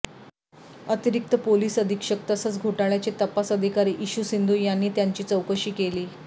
अतिरिक्त पोलीस अधीक्षक तसंच घोटाळ्याचे तपास अधिकारी इशू सिंधू यांनी त्यांची चौकशी केली